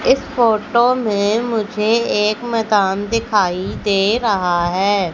इस फोटो में मुझे एक मकान दिखाई दे रहा है।